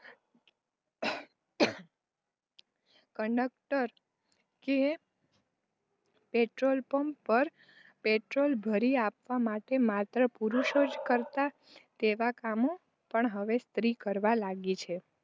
Conductor કે petrol pump પર petrol ભરી આપવા માટે માત્ર પુરુષો જ કરતા તેવાં કામો પણ હવે સ્ત્રીઓ કરવા લાગી છે.